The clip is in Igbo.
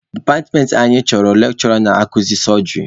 Departmentị anyị chọrọ lekshụra na-akuzi sọjịrị.